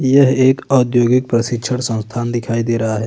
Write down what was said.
यह एक औद्योगिक प्रशिक्षण संस्थान दिखाई दे रहा है।